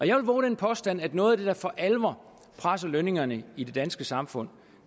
jeg vil vove den påstand at noget der for alvor presser lønningerne i det danske samfund